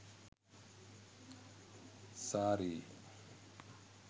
saree